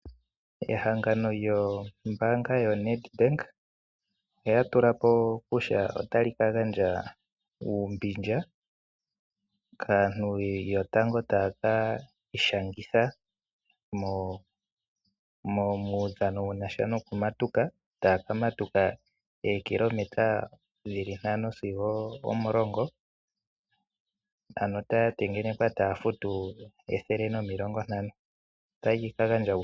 Ehangano lyombaanga yaNedbank olya tula po kutya otali ka gandja uumbindja kaantu yotango taya ka ishangitha muudhano wokumatuka. Taya ka matuka oshinano shookilometa ntano sigo omulongo nokwatengenekwa taya futu ethele nomilongo ntano (N$ 150).